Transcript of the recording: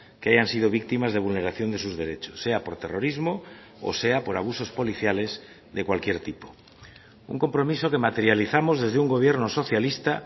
que hayan sido víctimas de vulneración de sus derechos sea por terrorismo o sea por abusos policiales de cualquier tipo un compromiso que materializamos desde un gobierno socialista